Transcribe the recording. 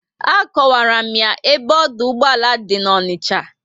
Akowara m ya ebe ọdụ ụgbọala dị na Onicha